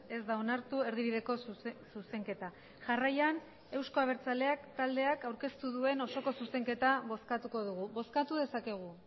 ez da onartu erdibideko zuzenketa jarraian eusko abertzaleak taldeak aurkeztu duen osoko zuzenketa bozkatuko dugu bozkatu dezakegu